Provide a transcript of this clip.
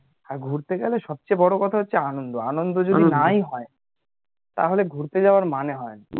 আর ঘুরতে গেলে সব থেকে বড়ো কথা হচ্ছে আনন্দ আনন্দ যদি নাই হয় তাহলে ঘুরতে যাওয়ার মানেই হয় না